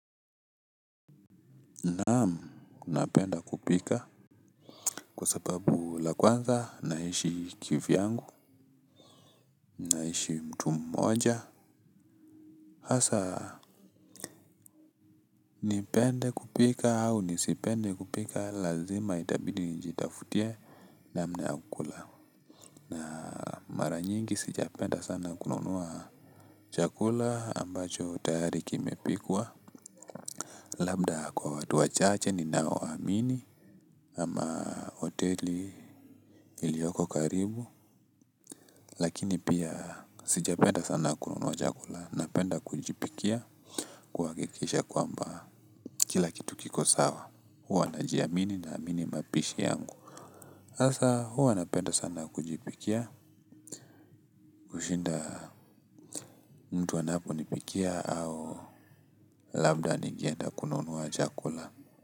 Naam napenda kupika kwasababu la kwanza naishi kivyangu. Naishi mtu mmoja. Hasa nipende kupika au nisipende kupika lazima itabidi njitafutie namna ya kula na mara nyingi sijapenda sana kununua chakula ambacho tayari kimepikwa. Labda kwa watu wachache ninaowsamini ama hoteli ilioko karibu lakini pia sijapenda sana kununua chakula. Napenda kujipikia kuhakikisha kwamba kila kitu kiko sawa. Huwa najiamini naamini mapishi yangu. Hasa huwa napenda sana kujipikia. Kushinda mtu anapo nipikia au labda ningeenda kununua chakula.